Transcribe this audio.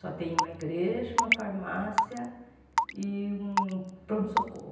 Só tem uma igreja, uma farmácia e um pronto-socorro.